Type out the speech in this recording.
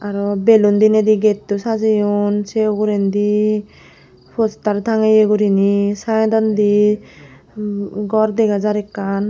arow balun dineydi gatow sajeyon sey ugurendi postar tangeye guriney saidondi gor degajar ekkan.